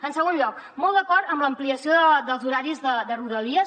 en segon lloc molt d’acord en l’ampliació dels horaris de rodalies